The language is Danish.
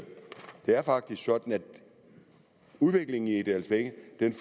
sådan at udviklingen i egedalsvænge